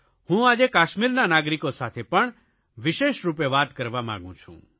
હું આજે કશ્મીરના નાગરિકો સાથે પણ વેશિષરૂપે વાત કરવા માગું છું